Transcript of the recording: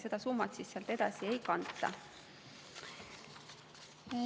Seda summat siis sealt edasi ei kanta.